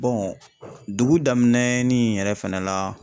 Bɔn dugu daminɛ ni yɛrɛ fɛnɛ la